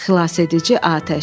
Xilasedici atəş.